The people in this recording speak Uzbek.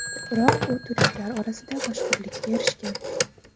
Biroq u turistlar orasida mashhurlikka erishgan.